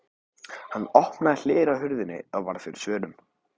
Hann opnaði hlera á hurðinni og varð fyrir svörum.